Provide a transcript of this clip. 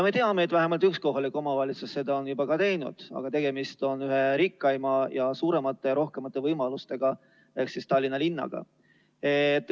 Me teame, et vähemalt üks kohalik omavalitsus on seda juba ka teinud, aga tegemist on ühe rikkaima ning seega suuremate ja rohkemate võimalustega omavalitsusega ehk Tallinna linnaga.